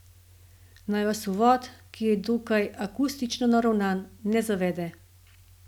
Naj vas uvod, ki je dokaj akustično naravnan, ne zavede.